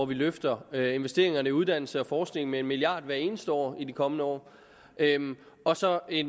vi løfter investeringerne i uddannelse og forskning med en milliard kroner hvert eneste år i de kommende år og så i